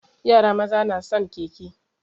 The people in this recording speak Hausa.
Yara maza na son keke.